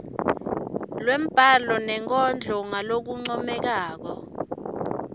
lwembhalo nenkondlo ngalokuncomekako